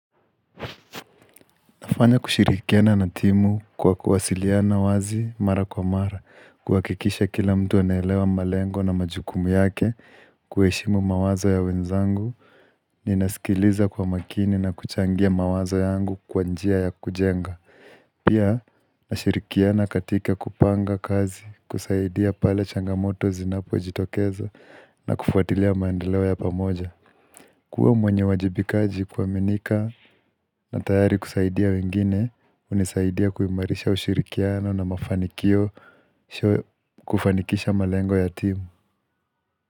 Nafanya kushirikiana na timu kwa kuwasiliana wazi mara kwa mara, kuhakikisha kila mtu anaelewa malengo na majukumu yake, kuheshimu mawazo ya wenzangu, ninasikiliza kwa makini na kuchangia mawazo yangu kwa njia ya kujenga. Pia, nashirikiana katika kupanga kazi, kusaidia pale changamoto zinapojitokeza, na kufuatilia maendeleo ya pamoja. Kuwa mwenye wajibikaji kuaminika na tayari kusaidia wengine, hunisaidia kuimarisha ushirikiano na mafanikio kufanikisha malengo ya timu.